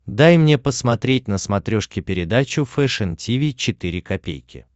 дай мне посмотреть на смотрешке передачу фэшн ти ви четыре ка